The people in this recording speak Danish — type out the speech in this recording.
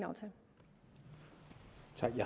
sådan